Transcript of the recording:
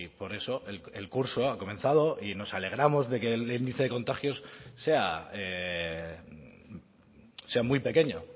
por eso el curso ha comenzado y nos alegramos de que el índice de contagios sea muy pequeño